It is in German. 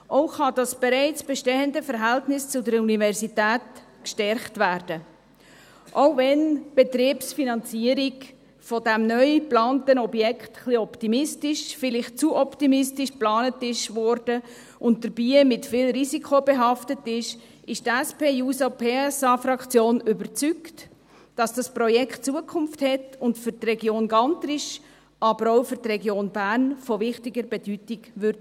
Auch kann das bereits bestehende Verhältnis zur Universität gestärkt werden, auch wenn die Betriebsfinanzierung von diesem neu geplanten Objekt ein wenig optimistisch – vielleicht zu optimistisch – geplant wurde und dabei mit viel Risiko behaftet ist, ist die SP-JUSO-PSA-Fraktion überzeugt, dass dieses Projekt Zukunft hat und für die Region Gantrisch, aber auch für die Region Bern von wichtiger Bedeutung sein wird.